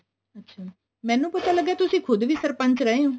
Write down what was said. ਅੱਛਾ ਮੈਨੂੰ ਪਤਾ ਲੱਗਿਆ ਤੁਸੀਂ ਖੁੱਦ ਵੀ ਸਰਪੰਚ ਰਹੇ ਹੋ